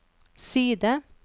side